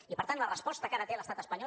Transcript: i per tant la resposta que ara té l’estat espanyol